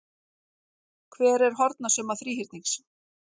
Hver er hornasumma þríhyrnings?